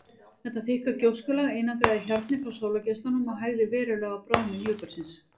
Þetta þykka gjóskulag einangraði hjarnið frá sólargeislunum og hægði verulega á bráðnun jökulsins.